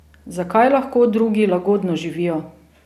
Zakaj lahko drugi lagodno živijo?